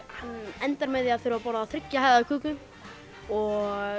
hann endar með því að þurfa að borða þriggja hæða köku og